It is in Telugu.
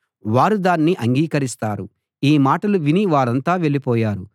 వారు దాన్ని అంగీకరిస్తారు ఈ మాటలు విని వారంతా వెళ్ళిపోయారు